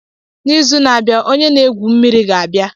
N'izu na-abịa, onye na-egwu mmiri ga-abịa.